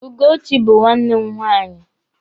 Ugochi bụ nwanne m nwaanyị.